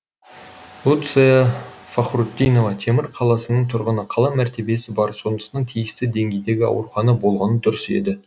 луция фахрутдинова темір қаласының тұрғыны қала мәртебесі бар сондықтан тиісті деңгейдегі аурухана болғаны дұрыс еді